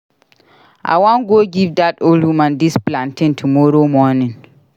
I wan go give dat old woman dis plantain tomorrow morning